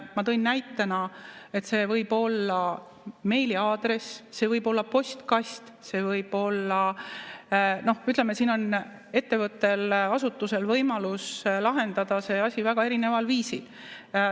Ma tõin näitena, et see võib olla meiliaadress, see võib olla postkast, no ütleme, siin on ettevõttel-asutusel võimalus lahendada see asi väga erineval viisil.